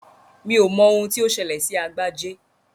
Mi ò mọ ohun tí ó ṣẹlẹ̀ sí Agbájé